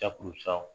Jakuru san